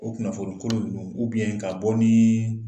O kunnafoni kolon nunun ka bɔ ni